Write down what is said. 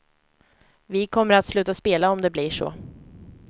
Vi kommer att sluta spela om det blir så.